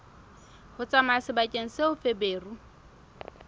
ho tsamaya sebakeng seo feberu